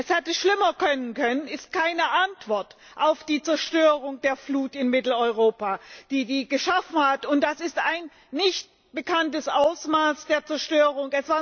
Es hätte schlimmer kommen können ist keine Antwort auf die Zerstörungen in Mitteleuropa, die die Flut geschaffen hat. Das ist ein nicht bekanntes Ausmaß der Zerstörung.